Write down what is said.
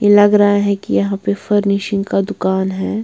ये लग रहा है कि यहाँ पे फर्निशिंग का दुकान है।